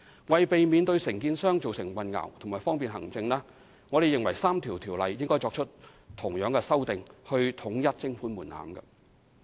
為避免對承建商造成混淆，以及方便行政，我們認為應對該3項條例作出同樣的修訂，以統一徵款門檻。